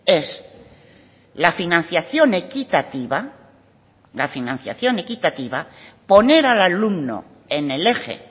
es la financiación equitativa la financiación equitativa poner al alumno en el eje